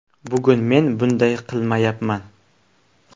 Bugun men bunday qilmayapman.